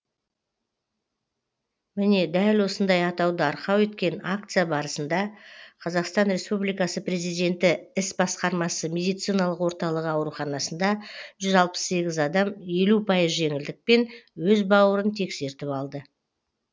міне дәл осындай атауды арқау еткен акция барысында қазақстан республикасы президенті іс басқармасы медициналық орталығы ауруханасында жүз алпыс сегіз адам елу пайыз жеңілдікпен өз бауырын тексертіп алды